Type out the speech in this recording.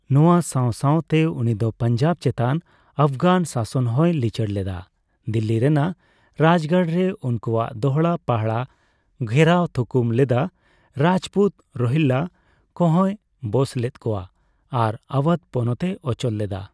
ᱱᱚᱣᱟ ᱥᱟᱣ ᱥᱟᱣᱛᱮ ᱩᱱᱤᱫᱚ ᱯᱟᱧᱡᱟᱵ ᱪᱮᱛᱟᱱ ᱟᱯᱷᱜᱟᱱ ᱥᱟᱥᱚᱱ ᱦᱚᱸᱭ ᱞᱤᱪᱟᱹᱲ ᱞᱮᱫᱟ, ᱫᱤᱞᱞᱤ ᱨᱮᱱᱟᱜ ᱨᱟᱡᱜᱟᱲ ᱨᱮ ᱩᱱᱠᱩᱣᱟᱜ ᱫᱚᱦᱲᱟᱼᱯᱟᱦᱲᱟ ᱜᱷᱮᱨᱟᱣ ᱛᱷᱩᱠᱩᱢ ᱞᱮᱫᱟ, ᱨᱟᱡᱯᱩᱛ, ᱨᱳᱦᱤᱞᱞᱟ ᱠᱚ ᱦᱚᱸᱭ ᱵᱚᱥ ᱞᱮᱫ ᱠᱚᱯᱣᱟ ᱟᱨ ᱟᱣᱟᱫᱷ ᱯᱚᱱᱚᱛᱮ ᱚᱪᱚᱞ ᱞᱮᱫᱟ ᱾